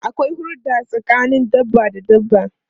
Akwai hurda tsakanin dabba da dabba.